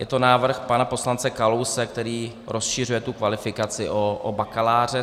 Je to návrh pana poslance Kalouse, který rozšiřuje tu kvalifikaci o bakaláře.